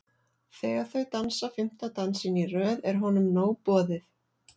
Þegar þau dansa fimmta dansinn í röð er honum nóg boðið.